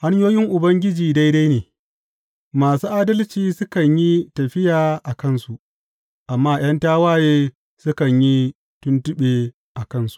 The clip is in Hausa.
Hanyoyin Ubangiji daidai ne; masu adalci sukan yi tafiya a kansu, amma ’yan tawaye sukan yi tuntuɓe a kansu.